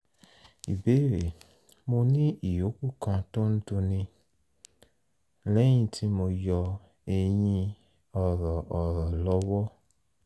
ìbéèrè: mo ní ìyókù kan tó ń dunni lẹ́yìn tí mo yọ eyín ọ̀rọ̀ ọ̀rọ̀ lọ́wọ́